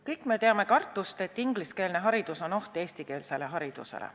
Kõik me teame kartust, et ingliskeelne haridus on oht eestikeelsele haridusele.